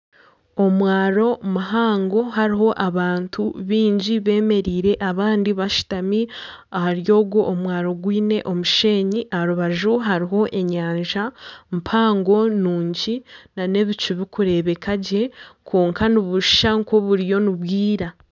Omwaro muhango hariho abantu baingi bemereire abandi bashutami ahari ogwo mwaro gwine omushenyi aha rubaju hariho enyanja mpango nungi na n'ebicu birikureebeka gye kwonka nibushusha nka oburiyo nibwira.